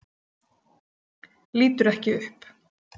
Lítur ekki upp.